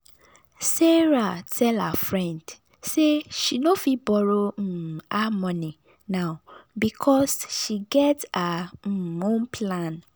sarah tell her friend say she no fit borrow um her money now because she get her um own plan.